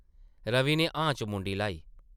रवि नै हां च मुंडी ल्हाई।